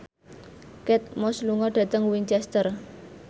Kate Moss lunga dhateng Winchester